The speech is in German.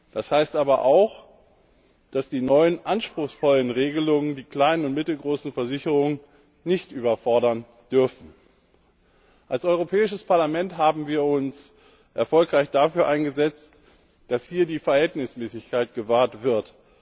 Das heißt aber auch, dass die neuen anspruchsvollen Regelungen die kleinen und mittelgroßen Versicherungen nicht überfordern dürfen. Als Europäisches Parlament haben wir uns erfolgreich dafür eingesetzt, dass hier die Verhältnismäßigkeit gewahrt wird.